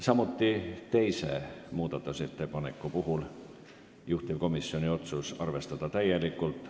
Samuti on teise muudatusettepaneku puhul juhtivkomisjoni otsus arvestada täielikult.